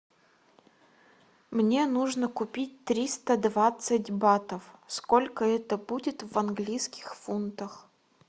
мне нужно купить триста двадцать батов сколько это будет в английских фунтах